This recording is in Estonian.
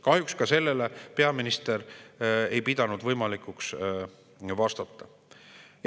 Kahjuks ka sellele peaminister ei pidanud võimalikuks vastata.